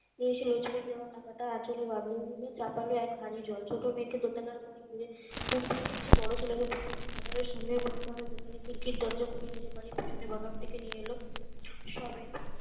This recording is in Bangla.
বেশ রেশমির দেয়া টাকাটা আঁচলে বাঁধলো উনি চাপালো এক হাড়ি জল ছোট মেয়েকে দোতলার ঘরে ঘুরে ঘুম পাড়িয়ে এসে বোরো ছেলেকে সামনের মুদিখানার দোকানে খির খির দরজা খুলে নিজের বাড়ির পিছনের বাগান থেকে নিয়ে এলো সবে